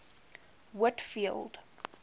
whitfield